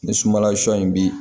Ni sumanla sɔ in bi